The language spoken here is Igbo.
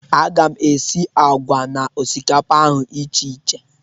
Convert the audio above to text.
A ga m esi àgwà na osikapa ahụ icheiche